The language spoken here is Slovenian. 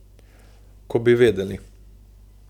Ko bi vedeli.